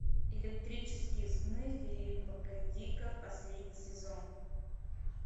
электрические сны филипа к дика последний сезон